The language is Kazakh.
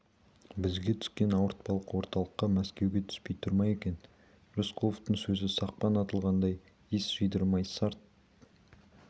бізге түскен ауыртпалық орталыққа мәскеуге түспей тұр ма екен рысқұловтың сөзі сақпан атылғандай ес жидырмай сарт